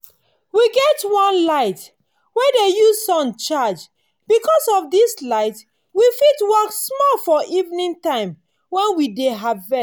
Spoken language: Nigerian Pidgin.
we get one light wey dey use sun charge. because of this light we fit work small for evening time when we dey harvest.